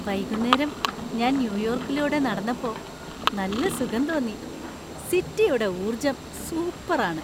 വൈകുന്നേരം ഞാൻ ന്യൂയോർക്കിലൂടെ നടന്നപ്പോ നല്ല സുഖം തോന്നി. സിറ്റിയുടെ ഊർജ്ജം സൂപ്പറാണ് .